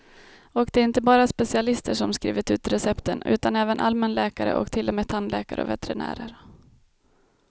Och det är inte bara specialister som skrivit ut recepten, utan även allmänläkare och till och med tandläkare och veterinärer.